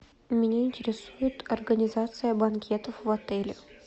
меня интересует организация банкетов в отеле